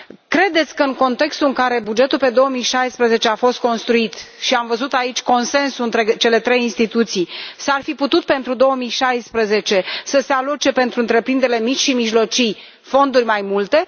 Credeți că în contextul în care bugetul pe 2016 a fost construit, și am văzut aici consens între cele trei instituții, s ar fi putut să se aloce pentru 2016, pentru întreprinderile mici și mijlocii, fonduri mai multe